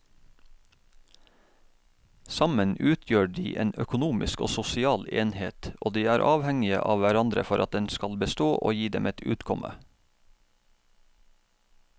Sammen utgjør de en økonomisk og sosial enhet og de er avhengige av hverandre for at den skal bestå og gi dem et utkomme.